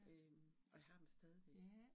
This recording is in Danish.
Øh og jeg har dem stadigvæk